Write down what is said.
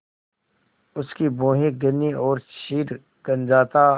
उसकी भौहें घनी और सिर गंजा था